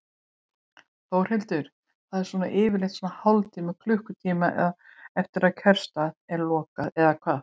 Þórhildur: Það er svona yfirleitt svona hálftíma, klukkutíma eftir að kjörstað er lokað eða hvað?